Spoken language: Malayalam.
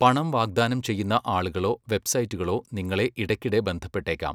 പണം വാഗ്ദാനം ചെയ്യുന്ന ആളുകളോ വെബ്സൈറ്റുകളോ നിങ്ങളെ ഇടയ്ക്കിടെ ബന്ധപ്പെട്ടേക്കാം.